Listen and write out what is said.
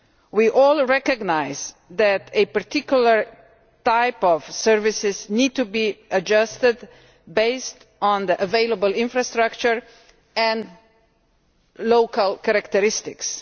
We all recognise that a particular type of service needs to be adjusted based on the available infrastructure and local characteristics.